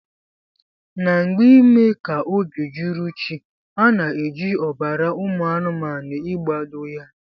Na mgbe ime ka obi juru chi ana eji ọbara ụmụ anumanu igbado ya.